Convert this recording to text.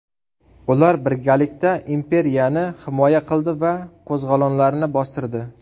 Ular birgalikda imperiyani himoya qildi va qo‘zg‘olonlarni bostirdi.